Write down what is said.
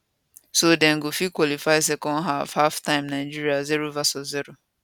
so dem go fit qualify second half halftime nigeria 0 vs 0